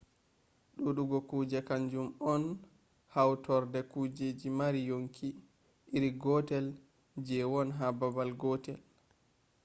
duudugo kuje kan jum on hautorde kujeji mari yonki iri gotel je won ha babal gotel